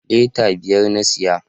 Lita biyar na saya